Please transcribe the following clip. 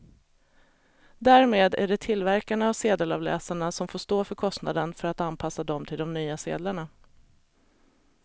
Därmed är det tillverkarna av sedelavläsarna som får stå för kostnaden för att anpassa dem till de nya sedlarna.